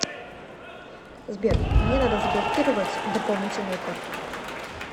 сбер мне надо заблокировать дополнительную карту